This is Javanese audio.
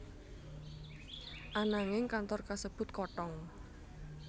Ananging kantor kasebut kothong